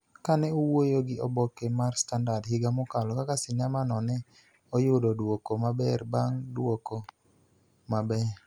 Ka ne owuoyo gi oboke mar Standard higa mokalo kaka sinema no ne oyudo duoko maber bang� duoko maber,